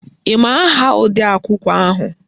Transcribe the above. Ị ma aha odeakwụkwọ ahụ?